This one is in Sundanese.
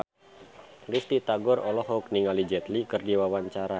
Risty Tagor olohok ningali Jet Li keur diwawancara